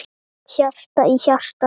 Hjarta í hjarta.